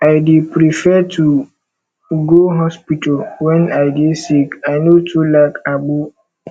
i dey prefer to go hospital wen i dey sick i no too like agbo